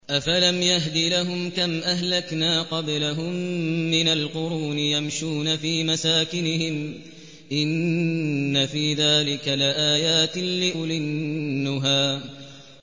أَفَلَمْ يَهْدِ لَهُمْ كَمْ أَهْلَكْنَا قَبْلَهُم مِّنَ الْقُرُونِ يَمْشُونَ فِي مَسَاكِنِهِمْ ۗ إِنَّ فِي ذَٰلِكَ لَآيَاتٍ لِّأُولِي النُّهَىٰ